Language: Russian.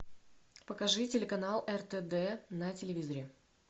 покажи телеканал ртд на телевизоре